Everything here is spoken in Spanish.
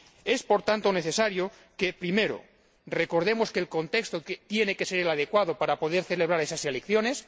Es, por tanto, necesario que recordemos primero que el contexto tiene que ser el adecuado para poder celebrar esas elecciones.